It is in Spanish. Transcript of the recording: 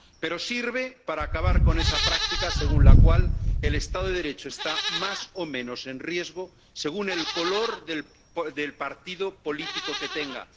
Pero sirve para acabar con esa práctica según la cual el Estado de Derecho está más o menos en riesgo según el color del partido político que tenga.